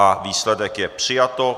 A výsledek je přijato.